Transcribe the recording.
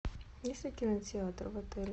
есть ли кинотеатр в отеле